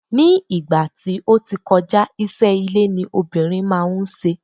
ní ìgbà tí o ti kọja, iṣẹ ile ni obìnrin ma n se